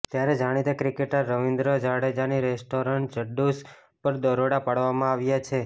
ત્યારે જાણીતા ક્રિકેટર રવિન્દ્ર જાડેજાની રેસ્ટોરન્ટ જાડ્ડુસ પર દરોડા પાડવામાં આવ્યા છે